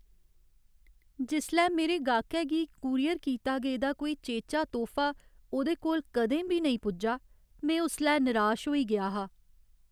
जिसलै मेरे गाह्कै गी कूरियर कीता गेदा कोई चेचा तोह्फा ओह्दे कोल कदें बी नेईं पुज्जा, में उसलै निराश होई गेआ हा ।